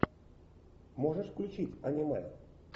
можешь включить аниме